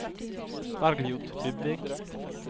Bergljot Dybvik